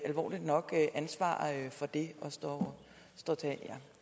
alvorligt nok ansvar for det og